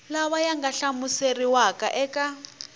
lawa ya nga hlamuseriwa eka